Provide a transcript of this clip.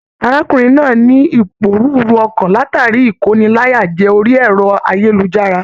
Arákùnrin náà ní iporúrú ọkan látara ikóníláyàjẹ̀ orí ẹrọ ayélujára.